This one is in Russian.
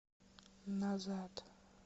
назад